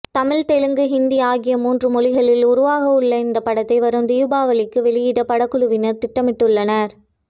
தமிழ் தெலுங்கு ஹிந்தி ஆகிய மூன்று மொழிகளில் உருவாகவுள்ள இந்த படத்தை வரும் தீபாவளிக்கு வெளியிட படக்குழுவினர் திட்டமிட்டுள்ளனர்